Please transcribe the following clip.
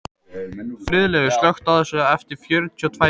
Friðleifur, slökktu á þessu eftir fjörutíu og tvær mínútur.